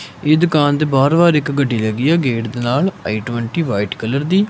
ਇਸ ਦੁਕਾਨ ਦੇ ਬਾਹਰੋ ਵਾਰ ਇੱਕ ਗੱਡੀ ਹੈਗੀ ਹੈ ਗੇਟ ਦੇ ਨਾਲ ਆਈ_ਟਵੇਂਟੀ ਵ੍ਹਾਈਟ ਕਲਰ ਦੀ।